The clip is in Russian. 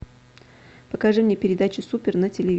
покажи мне передачу супер на телевизоре